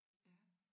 Ja